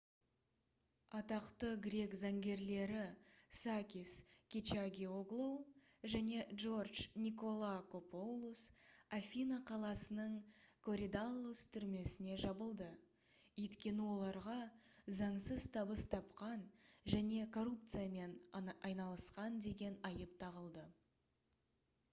атақты грек заңгерлері сакис кечагиоглоу және джордж николакопоулос афина қаласының коридаллус түрмесіне жабылды өйткені оларға заңсыз табыс тапқан және коррупциямен айналысқан деген айып тағылды